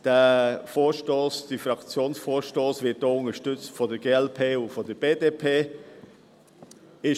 Dieser Fraktionsvorstoss wird auch von der glp und der BDP unterstützt.